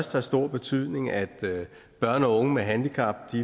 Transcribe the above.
har stor betydning at børn og unge med handicap